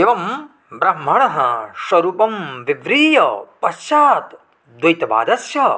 एवं ब्रह्मणः स्वरूपं विव्रीय पश्चात् द्वैतवादस्य